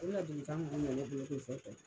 O ladilikan kun bɛ ne bolo k'o fɔ